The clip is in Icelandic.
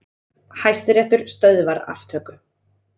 Hæstiréttur stöðvar aftöku